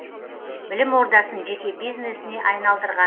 білім ордасын жеке бизнесіне айналдырған